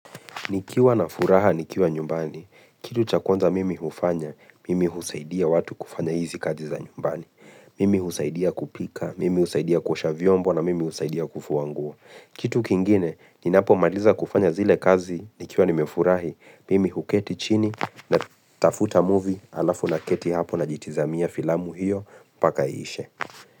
Nikiwa na furaha, nikiwa nyumbani. Kitu cha kwanza mimi hufanya, mimi husaidia watu kufanya hizi kazi za nyumbani. Mimi husaidia kupika, mimi husaidia kuosha vyombo na mimi husaidia kufua nguo. Kitu kingine, ninapomaliza kufanya zile kazi, nikiwa nimefurahi, mimi huketi chini natafuta movie alafu naketi hapo najitizamia filamu hiyo, mpaka iishe.